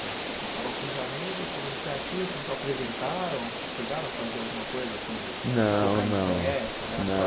Você estava com os amigos, foi uma iniciativa, vocês se apresentaram, vocês chegaram a fazer alguma coisa assim de Não não de tocar em festa? Era só